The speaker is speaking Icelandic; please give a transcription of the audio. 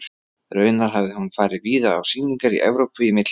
Raunar hafði hún farið víða á sýningar í Evrópu í millitíðinni.